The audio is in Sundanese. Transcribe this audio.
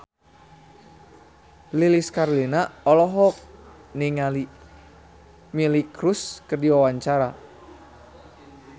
Lilis Karlina olohok ningali Miley Cyrus keur diwawancara